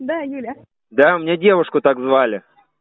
да юля да мне девушку так звали